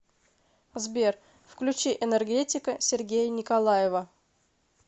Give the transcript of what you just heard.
сбер включи энергетика сергея николаева